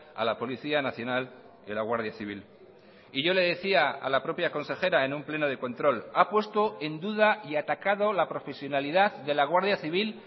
a la policía nacional y la guardia civil y yo le decía a la propia consejera en un pleno de control ha puesto en duda y ha atacado la profesionalidad de la guardia civil